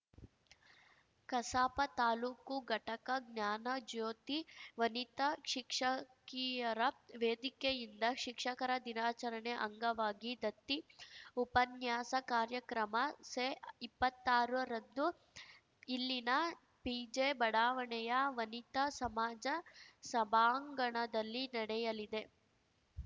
ಕಸಾಪ ತಾಲೂಕು ಘಟಕ ಜ್ಞಾನಜ್ಯೋತಿ ವನಿತಾ ಶಿಕ್ಷಕಿಯರ ವೇದಿಕೆಯಿಂದ ಶಿಕ್ಷಕರ ದಿನಾಚರಣೆ ಅಂಗವಾಗಿ ದತ್ತಿ ಉಪನ್ಯಾಸ ಕಾರ್ಯಕ್ರಮ ಸೆಇಪ್ಪತ್ತಾರರಂದು ಇಲ್ಲಿನ ಪಿಜೆ ಬಡಾವಣೆಯ ವನಿತಾ ಸಮಾಜ ಸಭಾಂಗಣದಲ್ಲಿ ನಡೆಯಲಿದೆ